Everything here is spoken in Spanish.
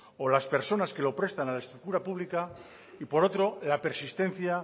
o las personas que lo prestan a la estructura pública y por otro la persistencia